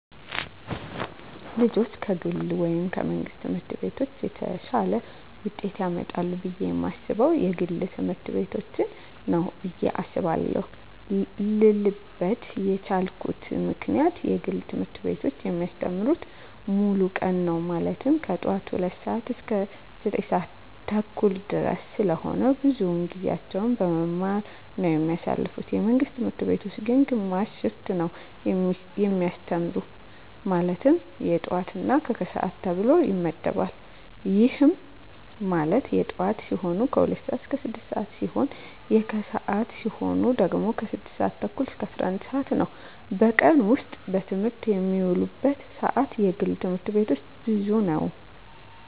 ልጆች ከግል ወይም ከመንግሥት ትምህርት ቤቶች የተሻለ ውጤት ያመጣሉ ብየ የማስበው የግል ትምህርት ቤቶችን ነው ብየ አስባለው ልልበት የቻልኩት ምክንያት የግል ትምህርት ቤቶች የሚያስተምሩት ሙሉ ቀን ነው ማለትም ከጠዋቱ 2:00 ሰዓት እስከ 9:30 ድረስ ስለሆነ ብዙውን ጊዜያቸውን በመማማር ነው የሚያሳልፉት የመንግስት ትምህርት ቤቶች ግን ግማሽ ሽፍት ነው የሚያስተምሩ ማለትም የጠዋት እና የከሰዓት ተብሎ ይመደባል ይህም ማለት የጠዋት ሲሆኑ 2:00 ስዓት እስከ 6:00 ሲሆን የከሰዓት ሲሆኑ ደግሞ 6:30 እስከ 11:00 ነው በቀን ውስጥ በትምህርት የሚውሉበት ሰዓት የግል ትምህርት ቤቶች ብዙ ነው።